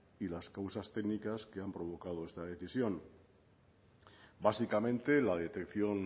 y las causas téncnicas que han provocado esta decisión básicamente la detección